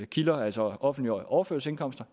kilder altså offentlige overførselsindkomster